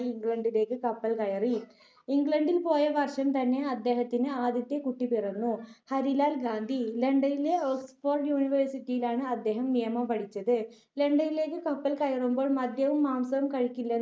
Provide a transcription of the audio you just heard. ഇംഗ്ലണ്ടിലേക്ക് കപ്പൽ കയറി. ഇംഗ്ലണ്ടിൽ പോയ വർഷം തന്നെ അദ്ദേഹത്തിന് ആദ്യത്തെ കുട്ടി പിറന്നു, ഹരിലാൽ ഗാന്ധി. ലണ്ടനിലെ ഓക്സ്ഫോർഡ് യൂണിവേഴ്സിറ്റിയിലാണ് അദ്ദേഹം നിയമം പഠിച്ചത്. ലണ്ടനിലേക്ക് കപ്പൽ കയറുമ്പോൾ മദ്യവും മാംസവും കഴിക്കില്ലെന്ന്